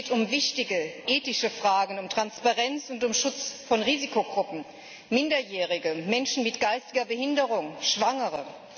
Es geht um wichtige ethische Fragen, um Transparenz und um Schutz von Risikogruppen Minderjährige, Menschen mit geistiger Behinderung, Schwangere.